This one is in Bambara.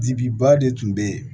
Dibi ba de tun bɛ yen